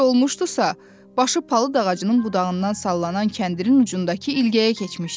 Necə olmuşdursa, başı palıd ağacının budağından sallanan kəndirin ucundakı ilgəyə keçmişdi.